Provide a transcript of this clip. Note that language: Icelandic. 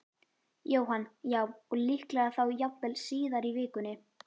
Jóhann: Já, og líklega þá jafnvel síðar í vikunni?